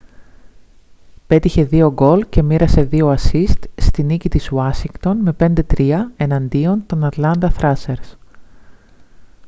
πέτυχε 2 γκολ και μοίρασε 2 ασσίστ στη νίκη της ουάσιγκτον με 5-3 εναντίον των ατλάντα θράσερς